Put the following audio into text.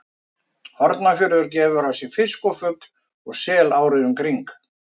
Hornafjörður gefur af sér fisk og fugl og sel árið um kring.